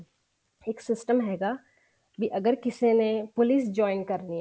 ਇੱਕ system ਹੈਗਾ ਤਾਂ ਅਗਰ ਕਿਸੇ ਨੇ police join ਕਰਨੀ ਹੈ